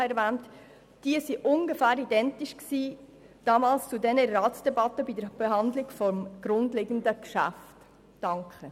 Sie war ungefähr identisch mit derjenigen, die damals bei der Ratsdebatte zum zugrundeliegenden Geschäft geführt wurde.